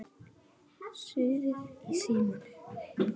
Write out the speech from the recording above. SUÐIÐ Í SÍMONI